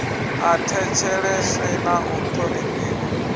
a thetsheleswe na u thonifhiwa